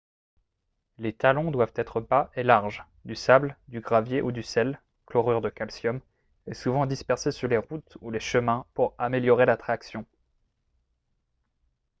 les talons doivent être bas et larges. du sable du gravier ou du sel chlorure de calcium est souvent dispersé sur les routes ou les chemins pour améliorer la traction